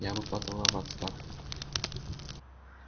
я бы подала в отставку